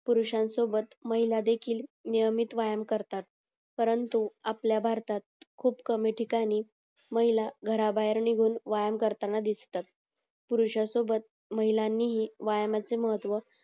पुरुषानं सोबत महिलांदेखील नियमित व्यायाम करतात परंतु आपल्या भारतात खूप कमी ठिकाणी महिला घरा भायेर निघून व्यायाम करताना दिसतात पुरुषानं सोबत महिलांनीही व्यायामाचे महत्व